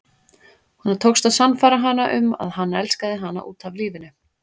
Honum tókst að sannfæra hana um að hann elskaði hana út af lífinu.